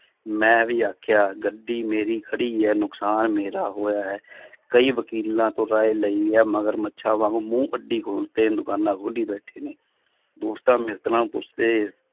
ਮੈਂ ਵੀ ਆਖਿਆ ਗੱਡੀ ਮੇਰੀ ਖੜੀ ਹੈ ਨੁਕਸਾਨ ਮੇਰਾ ਹੋਇਆ ਹੈ ਕਈ ਵਕੀਲਾਂ ਤੋਂ ਤਾਂ ਇਹ ਲਈ ਹੈ ਮਘਰ ਮੱਛਾਂ ਵਾਂਗੂ ਮੂੰਹ ਅੱਢੀ ਖਲੋਤੇ ਨੇ ਦੁਕਾਨਾਂ ਖੋਲੀ ਬੈਠੇ ਨੇ ਦੋਸਤਾਂ ਮਿੱਤਰਾਂ ਪੁੱਛਦੇ